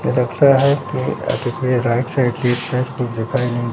यह लगता है कि राइट साइड